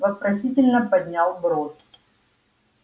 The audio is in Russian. вопросительно поднял бровь